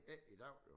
Ikke i dag jo